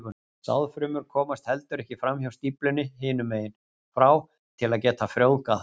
Sáðfrumur komast heldur ekki fram hjá stíflunni hinum megin frá til að geta frjóvgað það.